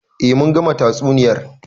Eh mun gama tatsuniyar.